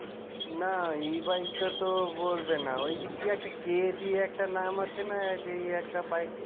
না e-bike টা তো না ওই যে কি একটা K দিয়ে একটা নাম আছে না এই একটা bike